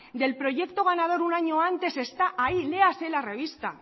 del proyecto ganador un año antes está ahí léase la revista